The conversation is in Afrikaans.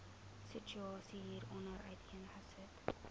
situasie hieronder uiteengesit